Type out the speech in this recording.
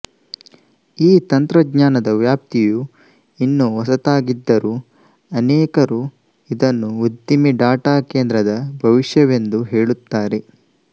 ಈ ತಂತ್ರಜ್ಞಾನದ ವ್ಯಾಪ್ತಿಯು ಇನ್ನೂ ಹೊಸತಾಗಿದ್ದರೂ ಅನೇಕರು ಇದನ್ನು ಉದ್ದಿಮೆ ಡಾಟಾಕೇಂದ್ರದ ಭವಿಷ್ಯವೆಂದು ಹೇಳುತ್ತಾರೆ